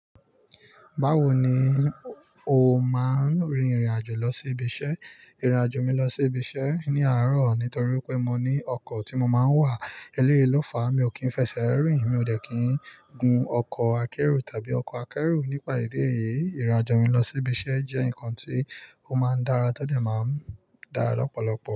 Báwo ni o máa ń rìnrìn-àjò lọ sí ibiṣẹ́? Ìrìn-àjò mi lọ sí ibiṣẹ́ ní àárọ̀ nítorí pé mo ní ọkọ̀ tí mo máa ń wà, eleyii lo fàá, mi ò kí ń fẹsẹ̀ rìn, mi ò dẹ́ kí ń gun ọkọ̀ akérò tàbí ọkọ̀ akẹ́rù. Nípa ìdí èyí, ìrìn-àjò mi lọ sí ibiṣẹ́ jẹ́ nǹkan tí ó máa ń dára tọdẹ̀ máa ń dára lọ́pọ̀lọpọ̀.